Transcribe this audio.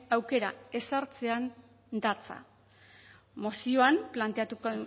aukera ezartzean datza